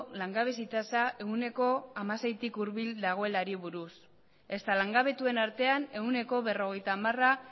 langabezi tasa ehuneko hamaseitik hurbil dagoelari buruz ezta langabetuen artean ehuneko berrogeita hamara